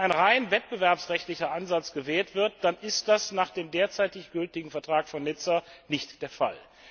Wenn ein rein wettbewerbsrechtlicher Ansatz gewählt wird, dann wäre dies nach dem derzeit gültigen Vertrag von Nizza nicht der Fall.